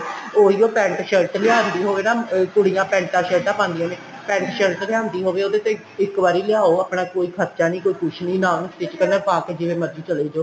ਉਹੀਉ pent shirt ਲਿਆਂਦੀ ਹੋਵੇ ਨਾ ਕੁੜੀਆਂ ਪੈਂਟਾ ਸ਼ਰਟਾ ਪਾਂਦੀਆਂ ਨੇ pent shirt ਲਿਆਂਦੀ ਹੋਵੇ ਉਹਦੇ ਤੇ ਇੱਕ ਵਾਰੀ ਲਿਆਉ ਆਪਣਾ ਕੋਈ ਖਰਚਾ ਨਹੀਂ ਕੋਈ ਕੁੱਛ ਨਹੀਂ ਨਾ ਉਹਨੂੰ stich ਕਰਨਾ ਪਾਕੇ ਜਿਵੇਂ ਮਰਜੀ ਚਲੇ ਜਾਉ